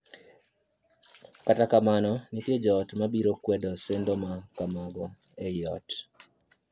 Kata kamano, nitie joot ma biro kwedo sendo ma kamago ei ot.